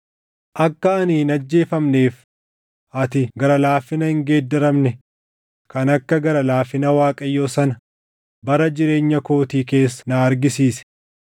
Akka ani hin ajjeefamneef ati gara laafina hin geeddaramne kan akka gara laafina Waaqayyoo sana bara jireenya kootii keessa na argisiisi.